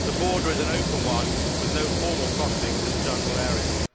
The border is an open one with no formal crossings in the jungle areas.